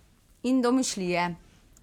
In domišljije.